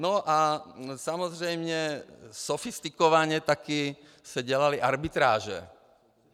No a samozřejmě sofistikovaně taky se dělaly arbitráže.